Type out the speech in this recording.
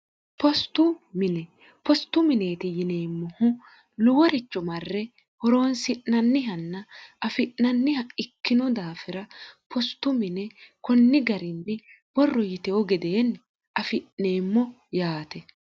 inpostu mineeti yineemmohu luworicho marre horoonsi'nannihanna afi'nanniha ikkinu daafira postu mine kunni garinni borro yitehu gedeenni afi'neemmo yaate